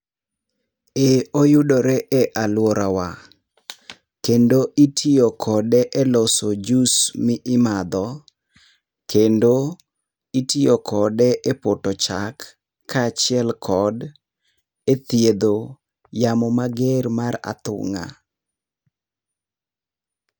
Ee, oyudore e aluorawa. Kendo itiyo kode eloso jus mi imadho, kendo itiyo kode epoto chak kaachiel kod ethiedho yamo mager mar athung'a.